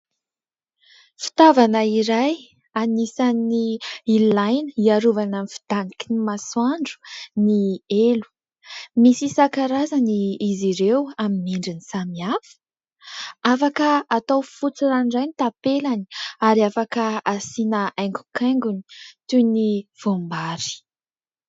Fitaovana iray anisany ilaina hiarovana amin' ny fidaniky ny masoandro ny elo. Misy isan-karazany izy ireo amin' ny endriny samihafa. Afaka atao fotsy ranoray ny tapelany ary afaka asiana haingo-kaingony toy ny voam-bary.